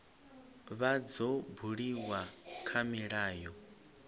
vha dzo buliwa kha milayo